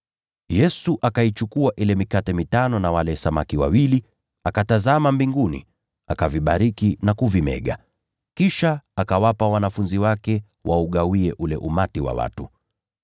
Yesu akaichukua ile mikate mitano na wale samaki wawili, akatazama mbinguni, akavibariki na kuvimega. Kisha akawapa wanafunzi ili wawagawie watu.